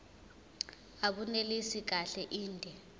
abunelisi kahle inde